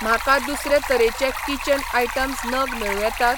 म्हाका दुसरे तरेचे किचन आयटम्स नग मेळूं येतात?